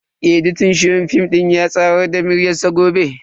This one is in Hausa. editan shirin film din ya tsayar da aikin sai gobe.